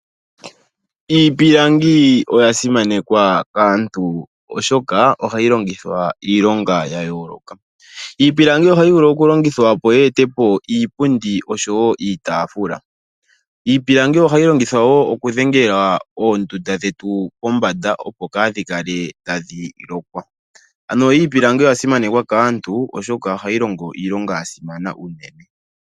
Iipilangi oya simanekwa kaantu oshoka ohayi longithwa iilonga ya yooloka. Iipilangi ohayi vulu okulongithwa, opo yi e te po iipundi oshowo iitaafula. Iipilangi ohayi longithwa wo okudhengela oondunda dhetu kombanda, opo ka dhi kale tadhi lokwa. Ano iipilangi oya simanekwa kaantu, oshoka ohayi longo iilonga ya simana unene.